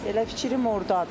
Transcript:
Elə fikrim ordadır.